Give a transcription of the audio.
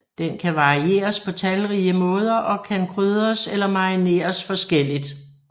Den kan varieres på talrige måder og kan krydres eller marineres forskelligt